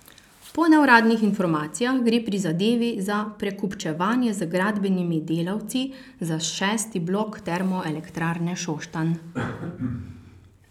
Po neuradnih informacijah gre pri zadevi za prekupčevanje z gradbenimi delavci za šesti blok Termoelektrarne Šoštanj.